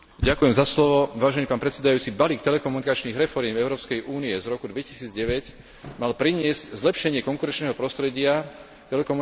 Balík telekomunikačných reforiem Európskej únie z roku 2009 mal priniesť zlepšenie konkurenčného prostredia telekomunikačných služieb na vnútornom trhu.